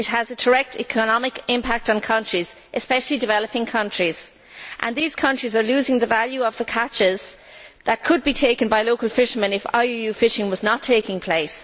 It has a direct economic impact on countries, especially developing countries, and these countries are losing the value of the catches that could be taken by local fishermen if IUU fishing was not taking place.